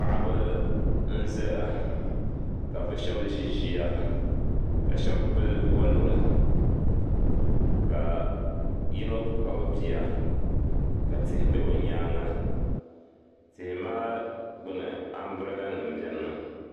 Paɣiba n zaya kabi zi ziya ka shab pili waluri, ka yinɔ Kpab biya, ka tihi be bi nyaaŋa, tihi maa. gbuni ambirela nim benimi.